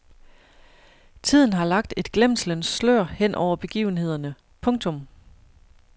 Tiden har lagt et glemslens slør hen over begivenhederne. punktum